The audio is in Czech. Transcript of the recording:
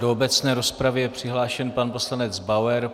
Do obecné rozpravy je přihlášen pan poslanec Bauer.